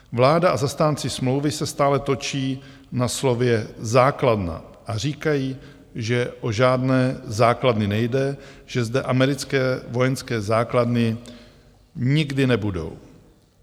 Vláda a zastánci smlouvy se stále točí na slově základna a říkají, že o žádné základny nejde, že zde americké vojenské základny nikdy nebudou.